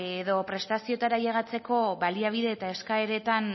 edo prestazioetara ailegatzeko baliabide eta eskaeretan